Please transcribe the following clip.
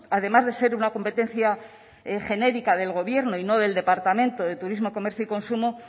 además de ser una competencia genérica del gobierno y no del departamento de turismo comercio y consumo